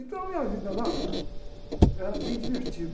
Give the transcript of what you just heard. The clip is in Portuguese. Então a minha vida lá era bem divertida.